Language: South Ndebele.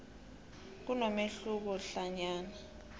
kunomehluko hlanyana